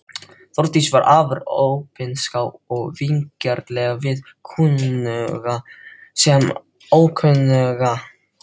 Þórdís var afar opinská og vingjarnleg við kunnuga sem ókunnuga.